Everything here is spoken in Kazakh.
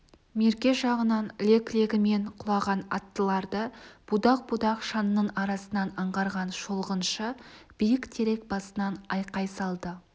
мерке жағынан лек-легімен құлаған аттыларды будақ-будақ шаңның арасынан аңғарған шолғыншы биік терек басынан айқай салды